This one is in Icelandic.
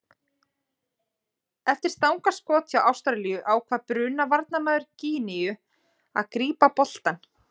Eftir stangarskot hjá Ástralíu ákvað Bruna varnarmaður Gíneu að grípa boltann.